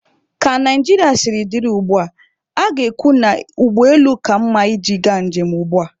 Ka Naijiria siri dị ugbua, a ga-ekwu na ụgbọ elu ka mma iji ga njem ugbua.